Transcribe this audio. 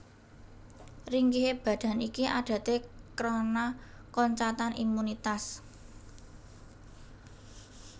Ringkihe badan iki adaté krana koncatan imunitas